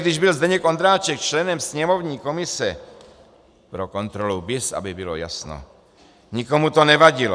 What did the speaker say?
Když byl Zdeněk Ondráček členem sněmovní komise," pro kontrolu BIS, aby bylo jasno, "nikomu to nevadilo.